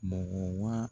Mɔgɔ wa